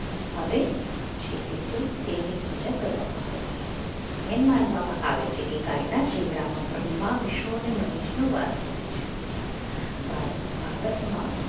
આવે છે તેથી તે તેની પૂજા કરવામાં આવે છે એન માનવામાં આવે છે કે ગાય શિંગડામાં બ્રહ્મા વિષ્ણુ મહેશ નું વાસ હોય છે ભારત ભારતમાં